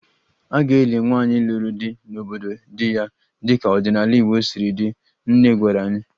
A ga-eli nwaanyị lụrụ di n'obodo di ya dịka ọdịnala Igbo siri dị, nne gwara anyị